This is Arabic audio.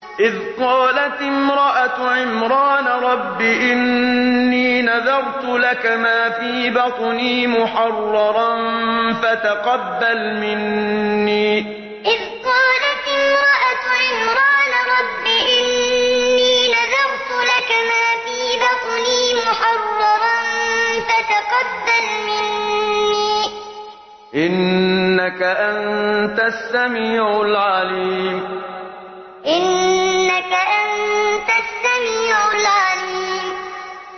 إِذْ قَالَتِ امْرَأَتُ عِمْرَانَ رَبِّ إِنِّي نَذَرْتُ لَكَ مَا فِي بَطْنِي مُحَرَّرًا فَتَقَبَّلْ مِنِّي ۖ إِنَّكَ أَنتَ السَّمِيعُ الْعَلِيمُ إِذْ قَالَتِ امْرَأَتُ عِمْرَانَ رَبِّ إِنِّي نَذَرْتُ لَكَ مَا فِي بَطْنِي مُحَرَّرًا فَتَقَبَّلْ مِنِّي ۖ إِنَّكَ أَنتَ السَّمِيعُ الْعَلِيمُ